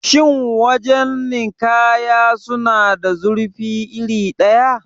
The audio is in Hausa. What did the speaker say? Shin wajan nikaya suna da zurfi iri ɗaya?